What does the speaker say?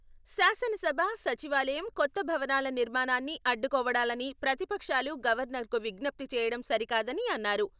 శాసనసభ, సచివాలయం కొత్త భవనాల నిర్మాణాన్ని అడ్డుకోవడాలని ప్రతిపక్షాలు గవర్నర్కు విజ్ఞప్తి చేయడం సరికాదని అన్నారు.